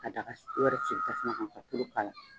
Ka daga wɛrɛ sigi tasuma kan ka tulu k'a la.